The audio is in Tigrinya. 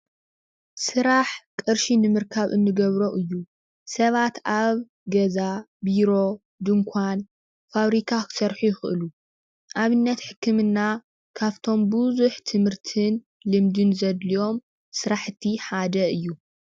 ስራሕ ቅርሺ ንምርካብ እንገብሮ እዩ፡፡ ሰባት ኣብ ገዛ፣ ቢሮ፣ ድንኳን፣ ፋብሪካ ክሰርሑ ይኽእሉ፡፡ ኣብነት ሕክምና ካብቶም ብዙሕ ትምህርትን ልምድን ዘድልዮም ስራሕቲ ሓደ እዩ፡፡